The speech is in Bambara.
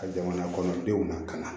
Ka jamanakɔnɔdenw na ka na